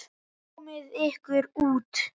Komiði ykkur út.